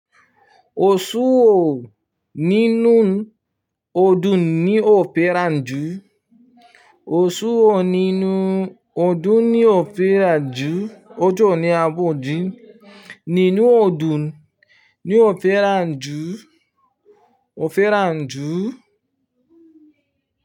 Oṣù wo nínú ọdún ní ò fẹ́ràn jù. Osù wo nínú ọdún ní ò fẹ́ràn jù. Ọjọ́ wo ni a ń bọ̀ jíya. Nínú ọdún ni ò fẹ́ràn jù, ò fẹ́ràn jù.